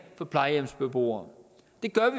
for plejehjemsbeboere